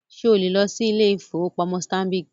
Ṣé o lè lọ sí ilé-ìfowópamọ́ Stanbic?